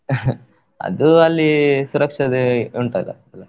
ಅದು ಅಲ್ಲಿ ಸುರಕ್ಷತೆ ಉಂಟಲ್ಲ ಎಲ್ಲ?